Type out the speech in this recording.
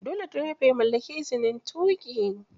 Dole direba ya mallaki izin tuƙi